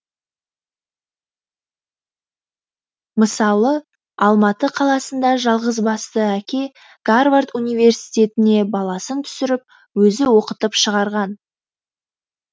мысалы алматы қаласында жалғызбасты әке гарвард университетіне баласын түсіріп өзі оқытып шығарған